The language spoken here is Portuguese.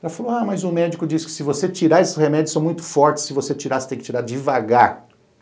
Ela falou, ah, mas o médico disse que se você tirar esses remédios, são muito fortes, se você tirar, você tem que tirar devagar.